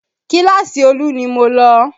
Kíláàsì Olú ni mo lọ